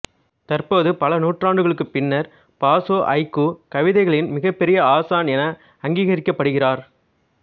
தற்போது பல நூற்றாண்டுகளுக்குப் பின்னர் பாசோ ஐக்கூ கவிதைகளின் மிகப்பெரிய ஆசான் என அங்கீகரிக்கப்படுகிறார்